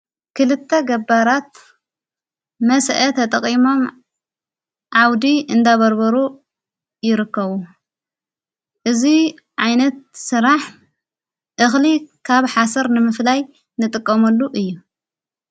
ክልተ ገባራት መስአት ጠቐሞም ዓውዲ እንዳበርበሩ ይርከቡ እዙይ ዓይነት ሥራሕ እኽሊ ካብ ሓሰር ንምፍላይ ንጥቀመሉ እዩ።